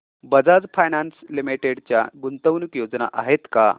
Bajaj finance limited च्या गुंतवणूक योजना आहेत का